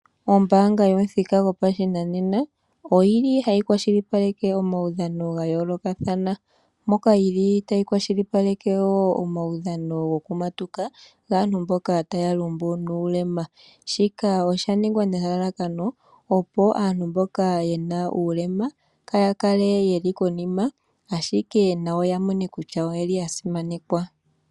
Ombaanga yomuthika gopashinanena oyi li hayi kwashilipaleke omaudhano ga yoolokathana, moka yi li tayi kwashilipaleke wo omaudhano gokumatuka, gaantu mboka taa lumbu nuulema. Shika osha ningwa nelalakano opo aantu mboka ye na uulema kaa ya kale ye li konima, oshike nayo ya mone kutya oye li ya simanekwa.